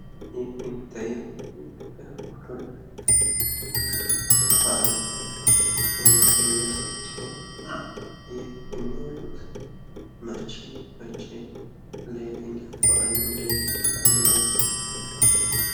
ይህ የሚታየው የኢትዮጵያ የኦርቶዶክስ ሃይማኖት በአል ነው። ይህ የሚወጡ ሰዎችን የሚያሳይ ሲሆን ፤ የሚውጡት መቼ መቼ ለየትኛው በአል ነው እንደዚህ የሚወጡት?